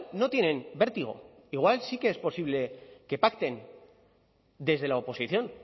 no tienen vértigo igual sí que es posible que pacten desde la oposición